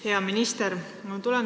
Hea minister!